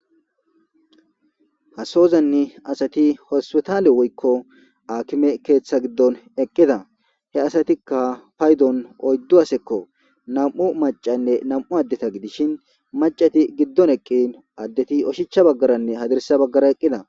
hasozanni asati hospetaale woykko akime keeththa giddon eqqida he asatikka paydon oyddu hasekko nam7u macanne nam7u addeta gidishin macati giddon eqqin addeti oshichcha baggaranne hadirsa baggara eqqida